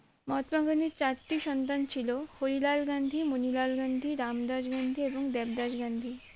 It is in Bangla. মহাত্মা গান্ধীর চারটি সন্তান ছিল হরিলাল গান্ধী মনিলাল গান্ধী রামদাস গান্ধী এবং দেবদাস গান্ধী